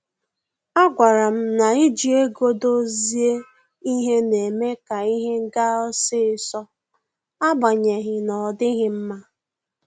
A gwara m na iji ego dozie ihe na-eme ka ihe ga osisọ, agbanyeghi n'odighi mma